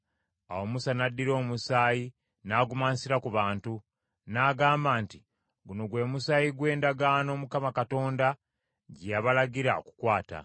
Awo Musa n’addira omusaayi n’agumansira ku bantu, n’agamba nti, “Guno gwe musaayi gw’endagaano Mukama Katonda gye yabalagira okukwata.”